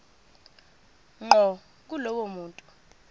ngqo kulowo muntu